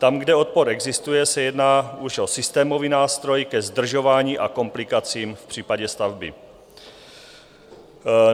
Tam, kde odpor existuje, se jedná už o systémový nástroj ke zdržování a komplikacím v případě stavby.